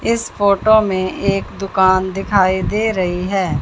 इस फोटो में एक दुकान दिखाई दे रही है।